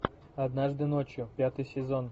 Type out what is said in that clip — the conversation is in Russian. однажды ночью пятый сезон